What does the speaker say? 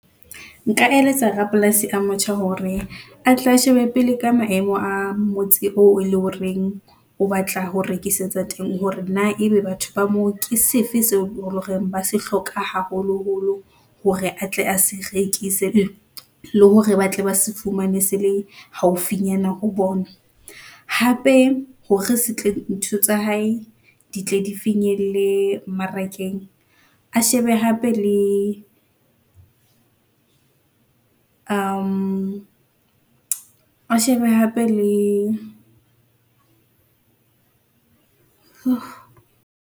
Nka eletsa rapolasi a motjha hore a tle a shebe pele ka maemo a motse oo eleng hore o batla ho rekisetsa teng, hore na ebe batho ba moo ke sefe seo horeng ba se hloka haholoholo hore atle a se rekise, le hore ba tle ba se fumane se le haufinyana ho bona. Hape hore se tle ntho tsa hae di tle di finyelle mmarakeng, a shebe hape, le a shebe hape le .